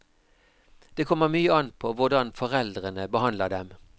Det kommer mye an på hvordan foreldrene behandler dem.